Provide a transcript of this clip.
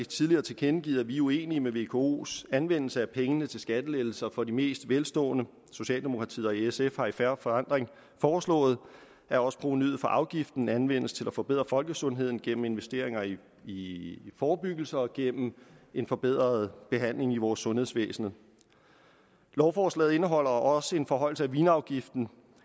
tidligere tilkendegivet at vi er uenige med vkos anvendelse af pengene til skattelettelser for de mest velstående socialdemokratiet og sf har i fair forandring foreslået at også provenuet fra afgiften anvendes til at forbedre folkesundheden gennem investeringer i forebyggelse og gennem en forbedret behandling i vores sundhedsvæsen lovforslaget indeholder også en forhøjelse af vinafgiften